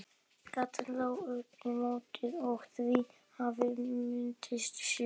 Gatan lá upp í móti og víða hafði myndast svell.